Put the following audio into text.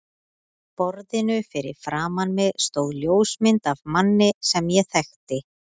borðinu fyrir framan mig stóð ljósmynd af manni sem ég þekkti.